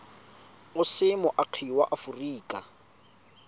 o se moagi wa aforika